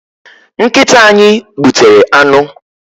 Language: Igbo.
Nkịta anyị gbutere anụ.